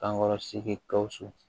Kankɔrɔ sigi gawusu